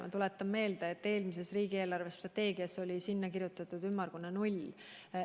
Ma tuletan meelde, et eelmises riigi eelarvestrateegias oli sinna kirjutatud ümmargune null.